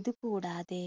ഇത് കൂടാതെ